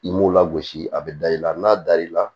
I m'u lagosi a bɛ da i la n'a dar'i la